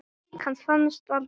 Lík hans fannst aldrei.